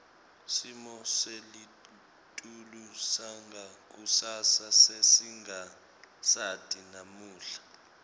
simo selitulu sangakusasa sesingasati namuhla